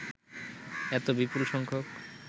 এত বিপুল সংখ্যক